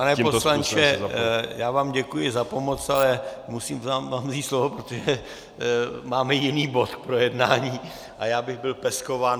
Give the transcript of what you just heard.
Pane poslanče, já vám děkuji za pomoc, ale musím vám vzít slovo, protože máme jiný bod k projednání a já bych byl peskován.